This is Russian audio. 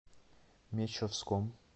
мещовском